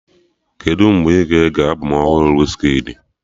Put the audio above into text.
Kedụ mgbe ị ga-ege albọm ọhụrụ Wizkidi?